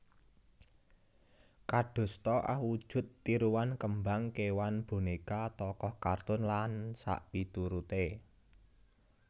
Kadosta awujud tiruan kembang kewan boneka tokoh kartun lan sakpiturute